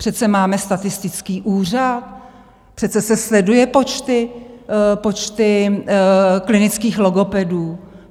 Přece máme statistický úřad, přece se sledují počty klinických logopedů.